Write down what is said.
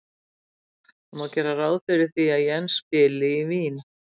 Það má gera ráð fyrir því að Jens spili í Vín.